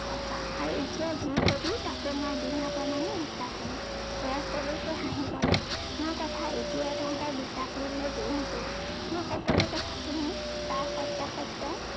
সঁচা। আৰু এতিয়া যি কবি তাকো মই বিনা প্ৰমানে বিশ্বাস কৰিম। জয়ে সৰুকৈ হাঁহি কলে, মোৰ কথা এতিয়াই তহঁতক বিশ্বাস কৰিবলৈ জোৰ নকৰো। মোৰ সকলো কথা শুনি তাৰ সত্য়াসত্য়